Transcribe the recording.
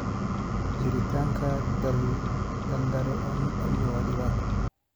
Jiritaanka daldaloolo amni waa dhibaato.